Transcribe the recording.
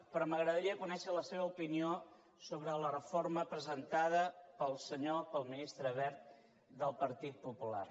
però m’agradaria conèixer la seva opinió sobre la reforma presentada pel ministre wert del partit popular